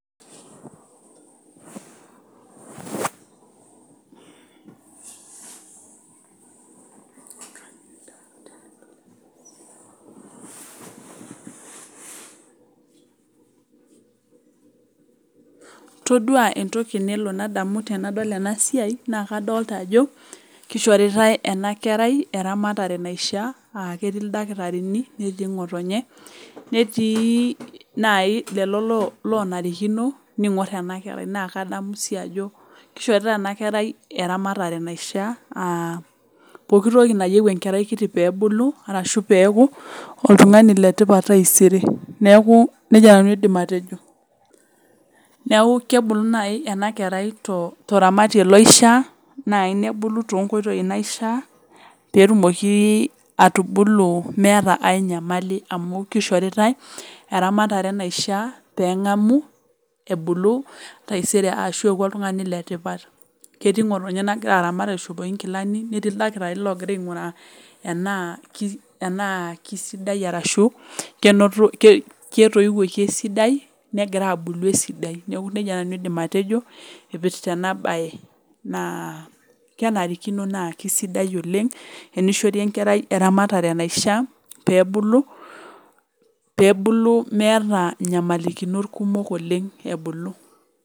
Todua entoki nelo nadamu tenadol ena siai naa, kadolita ajo kishoritae ena kerai eramatare naishia, ah ketii ildakitarini, netii ngotonye netii nai lelo lonarikino ningor ena kerai. naa kadamu sii ajo kishoritae ena kerai eramatare naishia ah, pooki toki nayieu enkerai kiti pee ebulu arashu peeku oltungani le tipat taisere neaku nejia nanu aidim atejo neaku, kebulu naaji ena kerai toramatie loishaa naaji nebolu to nkoitoi toramatie loishaa peetumoki atubulu meeta ae nyamali amu, kishoritae eramatare naishia pee engamu ebulu taisere arashu eaku oltungani le tipat ketii ngotonye nagira aramat aishopiki inkilani, netii ildakitarini logira ainguraa tenaa kisidai arashu ketoiwuoki esidai negira abulu esidai, neaku nejia nanu aidim atejo ipirta ena bae naa, ah kenarikino naa kisidai oleng enishori enkerai eramatare naishia pee ebulu meeta nyamalakinot kumok oleng ebulu.